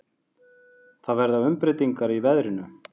Það verða umbreytingar í veðrinu.